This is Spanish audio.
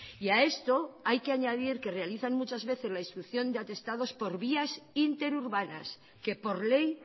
y a esto hay que añadir que realizan muchas veces la instrucción de atestados por vías interurbanas que por ley